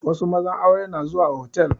Wasu mazan aure na zuwa hotal